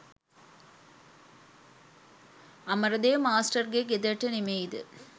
අමරදේව මාස්ටර්ගේ ගෙදරට නෙමෙයිද?